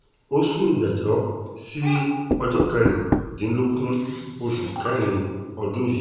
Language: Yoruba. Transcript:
ó sún ìgbẹ́jọ́ sí ọjọ́ kẹrìndínlógún oṣù kẹrin ọdún yìí